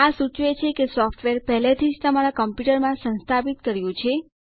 આ સૂચવે છે કે સોફ્ટવેર પહેલેથી જ તમારા કમ્પ્યુટર માં સંસ્થાપિત કર્યું છે